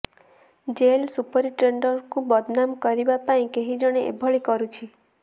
jail ସୁପରିଟେଣ୍ଡେଣ୍ଟଙ୍କୁ ବଦନାମ କରିବା ପାଇଁ କେହି ଜଣେ ଏଭଳି କରୁଛି